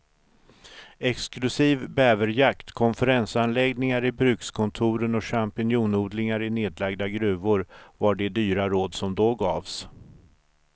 Exklusiv bäverjakt, konferensanläggningar i brukskontoren och champinjonodlingar i nedlagda gruvor var de dyra råd som då gavs.